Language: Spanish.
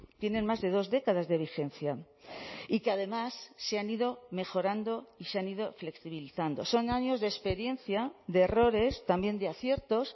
tienen más de dos décadas de vigencia y que además se han ido mejorando y se han ido flexibilizando son años de experiencia de errores también de aciertos